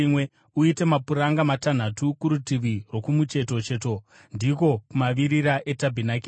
Uite mapuranga matanhatu kurutivi rwokumucheto cheto, ndiko kumavirira etabhenakeri,